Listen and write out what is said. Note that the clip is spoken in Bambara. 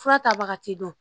Fura tabaga ti don